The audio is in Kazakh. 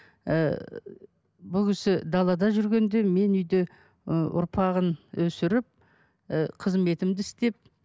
ііі бұл кісі далада жүргенде мен үйде ы ұрпағын өсіріп ы қызметімді істеп